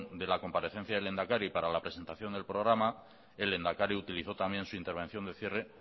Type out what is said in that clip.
de la comparecencia del lehendakari para la presentación del programa el lehendakari utilizó también su intervención de cierre